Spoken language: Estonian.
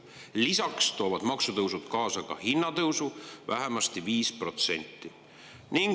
Lisaks toovad maksutõusud kaasa hinnatõusu vähemasti 5%.